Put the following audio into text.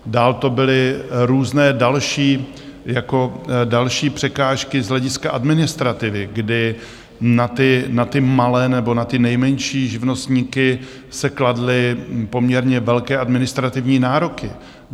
Dál to byly různé další překážky z hlediska administrativy, kdy na ty malé nebo na ty nejmenší živnostníky se kladly poměrně velké administrativní nároky.